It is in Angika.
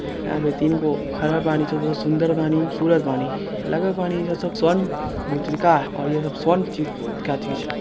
आगे तीन गो हरा बानी जो बहुत सुन्दर बानी खूबसूरत बानी लगत बानी सब स्वर्ण मुद्रिका और यह स्वर्ण चीज का अथी छै।